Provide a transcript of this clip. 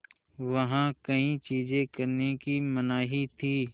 वहाँ कई चीज़ें करने की मनाही थी